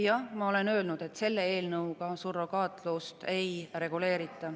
Jah, ma olen öelnud, et selle eelnõuga surrogaatlust ei reguleerita.